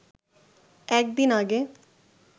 একদিন আগে